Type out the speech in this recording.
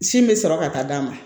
Sin bɛ sɔrɔ ka taa d'a ma